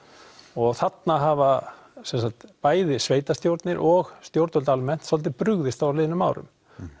og þarna hafa sem sagt bæði sveitarstjórnir og stjórnvöld almennt svolítið brugðist á liðnum árum